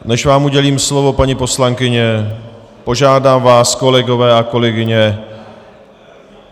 Než vám udělím slovo, paní poslankyně, požádám vás, kolegové a kolegyně...